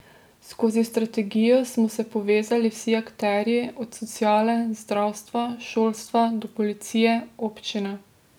Skozi strategijo smo se povezali vsi akterji, od sociale, zdravstva, šolstva do policije, občine.